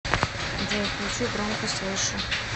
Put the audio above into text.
джой включи громкость выше